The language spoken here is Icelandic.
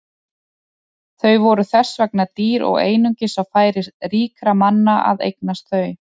Þau voru þess vegna dýr og einungis á færi ríkra manna að eignast þau.